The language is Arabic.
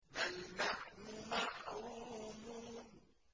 بَلْ نَحْنُ مَحْرُومُونَ